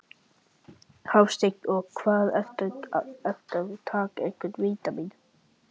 Hafsteinn: Og hvað ertu, ertu að taka einhver vítamín?